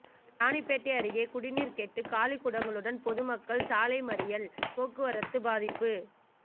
ராணிப்பேட்டை அருகே குடிநீர் கேட்டு காலிக்குடங்களுடன் பொதுமக்கள் சாலை மறியல் போக்குவரத்து பாதிப்பு